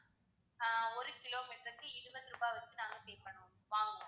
ஆஹ் ஒரு கிலோமீட்டர்க்கு இருபது ரூபா வந்து நாங்க pay பண்ணுவோம் வாங்குவோம்.